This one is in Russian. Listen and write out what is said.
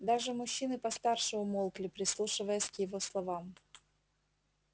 даже мужчины постарше умолкли прислушиваясь к его словам